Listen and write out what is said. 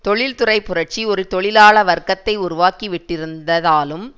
தொழில்துறை புரட்சி ஒரு தொழிலாள வர்க்கத்தை உருவாக்கி விட்டிருந்ததாலும்